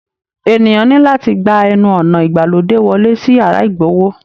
Ènìyàn ní láti gbà ẹnu ọnà ìgbàlódé wọlé sí yàrá igbowó